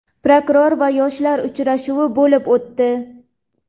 Prokuror va yoshlar uchrashuvi bo‘lib o‘tdi.